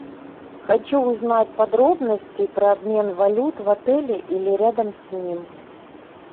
хочу узнать подробности про обмен валют в отеле или рядом с ним